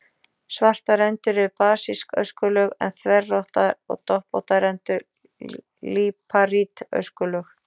Svartar rendur eru basísk öskulög en þverrákóttar og doppóttar rendur líparít öskulög.